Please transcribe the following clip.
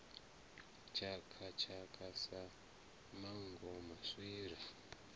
tshaka tshaka sa manngo maswiri